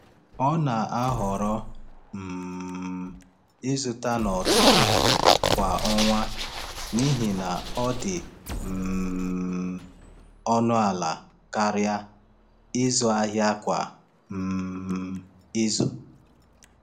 Ọ na-ahọrọ um ịzụta n’ọtụtụ kwa ọnwa n’ihi na ọ dị um ọnụ ala karịa ịzụ ahịa kwa um izu.